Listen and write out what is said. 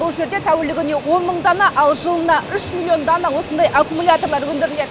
бұл жерде тәулігіне он мың дана ал жылына үш миллион дана осындай аккумулятор өндіріледі